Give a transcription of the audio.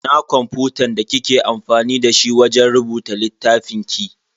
Ina kwamfutan da kike amfani dashi wajen rubuta littafin ki?